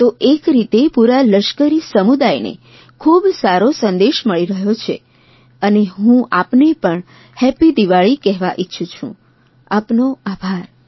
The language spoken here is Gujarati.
તો એક રીતે પૂરા લશ્કરી સમુદાયને ખૂબ સારો સંદેશ મળી રહ્યો છે અને હું આપને પણ હેપ્પી દિવાળી કહેવા ઇચ્છું છું આપનો આભાર